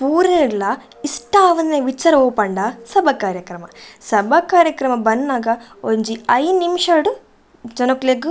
ಪೂರೆರ್ಲ ಇಷ್ಟ ಆವಂದಿನ ವಿಚಾರ ಒವು ಪಂಡ ಸಭ ಕಾರ್ಯಕ್ರಮ ಸಭ ಕಾರ್ಯಕ್ರಮ ಬನ್ನಗ ಒಂಜಿ ಐನ್ ನಿಮಿಷ ಡ್ ಜನೊಕ್ಲೆಗ್ --